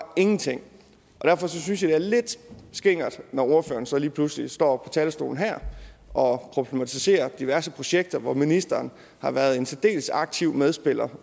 ingenting og derfor synes jeg det er lidt skingert når ordføreren så lige pludselig står på talerstolen her og problematiserer diverse projekter hvor ministeren har været en særdeles aktiv medspiller